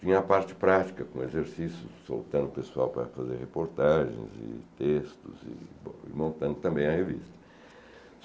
Tinha a parte prática, com exercícios, soltando o pessoal para fazer reportagens e textos e montando também a revista.